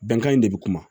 Bɛnkan in de bɛ kuma